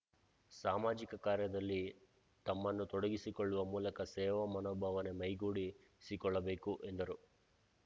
ಸಾಮಾಜಿಕ ಕಾರ್ಯದಲ್ಲಿ ತಮ್ಮನ್ನು ತೊಡಗಿಸಿಕೊಳ್ಳುವ ಮೂಲಕ ಸೇವಾ ಮನೋಭಾವನೆ ಮೈಗೂಡಿಸಿಕೊಳ್ಳಬೇಕು ಎಂದರು